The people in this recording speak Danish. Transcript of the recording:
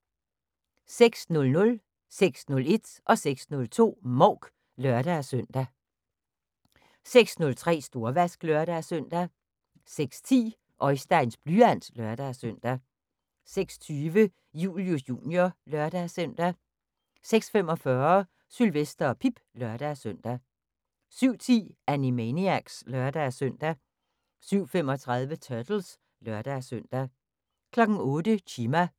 06:00: Mouk (lør-søn) 06:01: Mouk (lør-søn) 06:02: Mouk (lør-søn) 06:03: Storvask (lør-søn) 06:10: Oisteins blyant (lør-søn) 06:20: Julius Jr. (lør-søn) 06:45: Sylvester og Pip (lør-søn) 07:10: Animaniacs (lør-søn) 07:35: Turtles (lør-søn) 08:00: Chima